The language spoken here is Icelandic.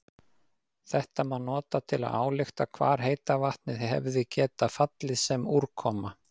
Þetta má nota til að álykta hvar heita vatnið hefði getað fallið sem úrkoma.